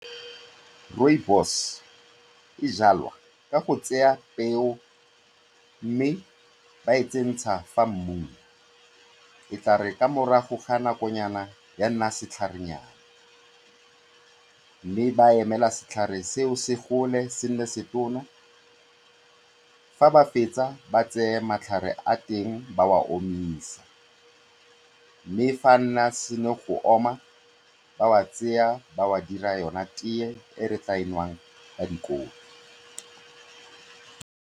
Rooibos e jwalwa ka go tsaya peo mme ba e tsenya mo mmung, e tla re ka morago ga nakonyana ya nna setlharenyana mme ba emela setlhare seo se gole se nne setona. Fa ba fetsa ba tseye matlhare a teng ba a omisa mme fa a se na go oma, ba a tsaya ba a dira yona teye e re tla nwang ba dikopi.